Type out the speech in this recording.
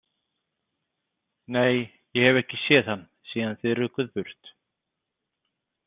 Nei, ég hef ekki séð hann síðan þið rukuð burt.